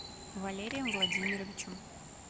валерием владимировичем